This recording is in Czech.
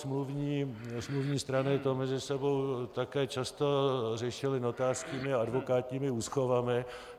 Smluvní strany to mezi sebou také často řešily notářskými a advokátními úschovami.